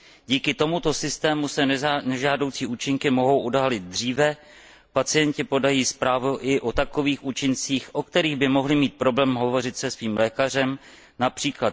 Díky tomuto systému se nežádoucí účinky mohou odhalit dříve, pacienti podají zprávu i o takových účincích, o kterých by mohli mít problém hovořit se svým lékařem, např.